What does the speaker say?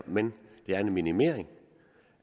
men det er en minimering